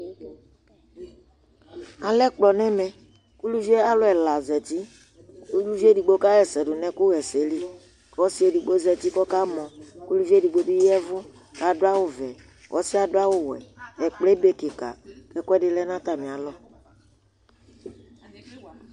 alɛ ɛkplɔ n'ɛmɛ kò uluvi yɛ alò ɛla zati uluvi edigbo ka ɣa ɛsɛ do no ɛkò ɣa ɛsɛ li kò ɔsi edigbo zati k'ɔka mɔ k'uluvi edigbo bi ya vu k'adu awu vɛ k'ɔsiɛ adu awu wɛ ɛkplɔɛ ebe keka k'ɛkòɛdi lɛ no atami alɔ